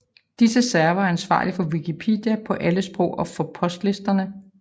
Disse servere er ansvarlige for Wikipedia på alle sprog og for postlisterne